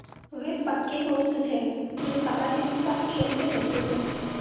वे पक्के दोस्त थे जो सारा दिन एक साथ खेलते रहते थे